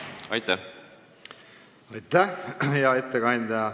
Aitäh, hea ettekandja!